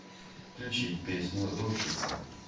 включить песню рушится